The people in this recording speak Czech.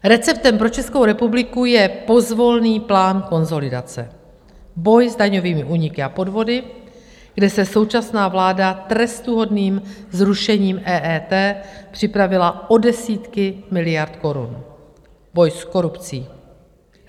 Receptem pro Českou republiku je pozvolný plán konsolidace, boj s daňovými úniky a podvody, kde se současná vláda trestuhodným zrušením EET připravila o desítky miliard korun, boj s korupcí.